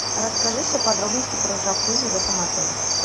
расскажи все подробности про джакузи в этом отеле